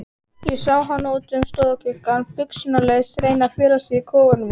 Ég sá hana út um stofugluggann, buxnalausa, reyna að fela sig í kofanum okkar.